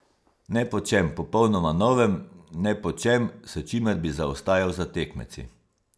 Ne po čem popolnoma novem ne po čem, s čimer bi zaostajal za tekmeci.